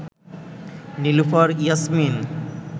Nilufar Yasmin